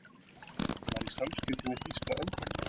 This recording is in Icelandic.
Var í samskiptum við þýska öfgamenn